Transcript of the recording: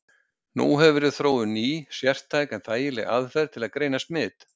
Nú hefur verið þróuð ný, sértæk en þægileg aðferð til að greina smit.